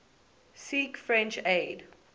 seek french aid